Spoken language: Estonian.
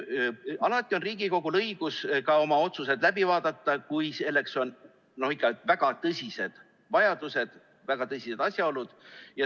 Alati on Riigikogul õigus ka oma otsused läbi vaadata, kui selleks on ikka väga tõsised vajadused, kui on väga tõsised asjaolud.